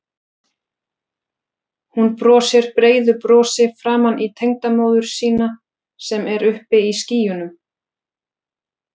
Hún brosir breiðu brosi framan í tengdamóður sína sem er uppi í skýjunum.